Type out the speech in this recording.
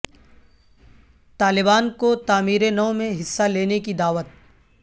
طالبان کو تعمیر نو میں حصہ لینے کی دعوت